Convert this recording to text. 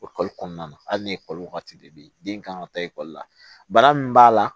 O kalo kɔnɔna na hali ni ekɔli waati de bɛ yen den kan ka taa ekɔli la bana min b'a la